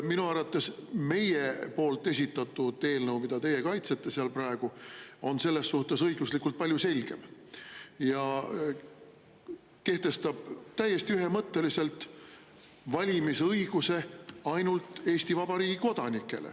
Minu arvates meie esitatud eelnõu, mida teie kaitsete seal praegu, on selles suhtes õiguslikult palju selgem ja kehtestab täiesti ühemõtteliselt valimisõiguse ainult Eesti Vabariigi kodanikele.